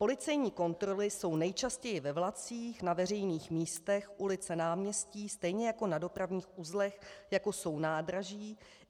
Policejní kontroly jsou nejčastěji ve vlacích, na veřejných místech, ulice, náměstí, stejně jako na dopravních uzlech, jako jsou nádraží.